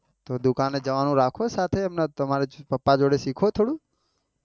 તો દુકાને જવાનું રાખો સાથે તારા પાપા જોડે શીખો થોડુંક